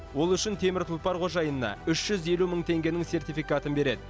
ол үшін темір тұлпар қожайынына үш жүз елу мың теңгенің сертификатын береді